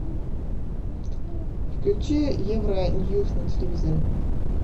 включи евро ньюс на телевизоре